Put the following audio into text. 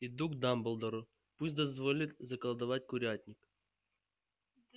иду к дамблдору пусть дозволит заколдовать курятник